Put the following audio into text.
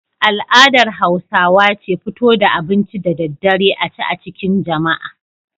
Al'adar Hausawa ce fito da abinci da daddare a ci a cikin jama'a.